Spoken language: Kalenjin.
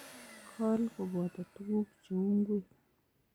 Kol koboto tugun cheu ngwek